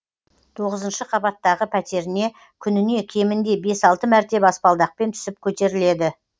тоғызыншы қабаттағы пәтеріне күніне кемінде бес алты мәрте баспалдақпен түсіп көтеріледі